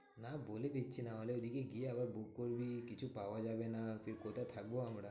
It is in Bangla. না বলে দিচ্ছি নাহলে ওইদিকে গিয়ে আবার book করবি। কিছু পাওয়া যাবে না, ফের কোথায় আমরা?